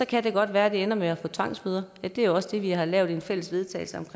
kan det godt være at det ender med at i får tvangsbøder det er jo også det vi har lavet en fælles vedtagelse om